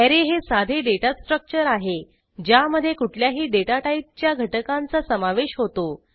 array हे साधे data structure आहे ज्यामधे कुठल्याही डेटा टाईपच्या घटकांचा समावेश होतो